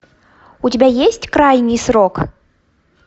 у тебя есть крайний срок